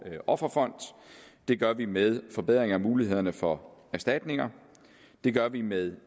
offerfond det gør vi med forbedring af mulighederne for erstatninger det gør vi med